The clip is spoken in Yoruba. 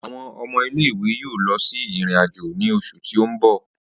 Awọn ọmọ ile-iwe yoo lọ si irin-ajo ni oṣu ti n bọ.